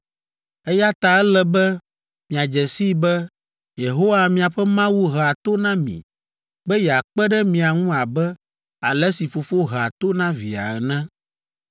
Eya ta ele be miadze sii be Yehowa miaƒe Mawu hea to na mi be yeakpe ɖe mia ŋu abe ale si fofo hea to na via ene.